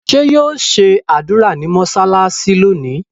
ṣe yíò ṣe ádùrá ní mọsalasi lónì?